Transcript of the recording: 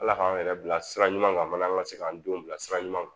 Ala k'an yɛrɛ bila sira ɲuman kan mana an ka se k'an denw bila sira ɲuman kan